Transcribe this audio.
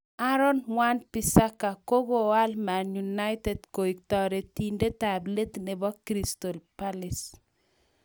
Aaron Wan Bissaka:Kagoal Man United kotioriendetab let nebo Crystal Palace